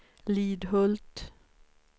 Lidhult